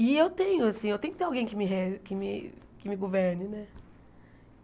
E eu tenho assim eu tenho que ter alguém que me re que me que me governe, né?